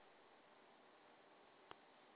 a no et o di